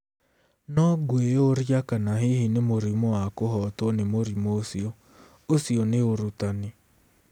No ngwĩyũria kana hihi nĩ mũrimũ wa kũhotwo nĩ mũrimũ ũcio.... Ũcio nĩ ũrutani.